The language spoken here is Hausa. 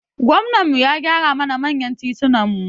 Gwamnan mu ya gyara mana manyan titunan mu